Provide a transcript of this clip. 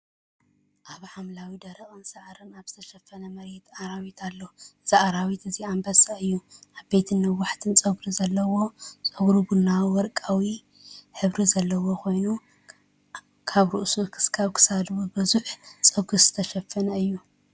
ኣብ ሓምላይን ደረቕን ሳዕሪ ኣብ ዝተሸፈነ መሬት ኣራዊት ኣሎ። እዚ ኣራዊት እዚ ኣንበሳ እዩ፣ ዓበይትን ነዊሕን ጸጕሪ ዘለዎ። ጸጉሩ ቡናውን ወርቃውን ሕብሪ ዘለዎ ኮይኑ፡ ካብ ርእሱ ክሳብ ክሳዱ ብብዙሕ ጸጉሪ ዝተሸፈነ እዩ።